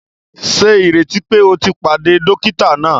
Ṣe ìrètí pé o tí pàdé dókítà náà!?